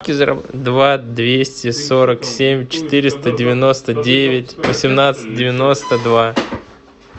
два двести сорок семь четыреста девяносто девять восемнадцать девяносто два